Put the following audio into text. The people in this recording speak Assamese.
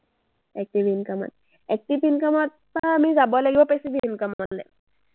active income ত। active income ত পৰা আমি যাব লাগিব passive income লে।